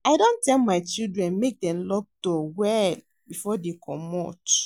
I don tell my children make dem dey lock door well before dey comot